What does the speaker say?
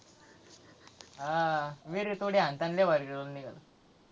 हां विहरीत उडी हाणताना लय भारी role निघाला.